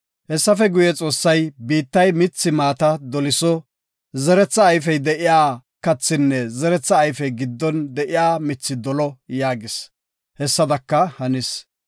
Hessafe guye, Xoossay, “Biittay mithi maata doliso; zeretha ayfey de7iya kathinne zeretha ayfey giddon de7iya mithi dolo” yaagis; hessadaka hanis.